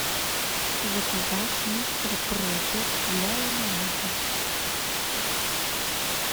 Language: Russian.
заказать мистер пропер для ламината